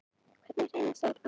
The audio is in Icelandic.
Hvernig hreinsaður af?